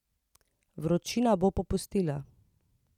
Vročina bo popustila.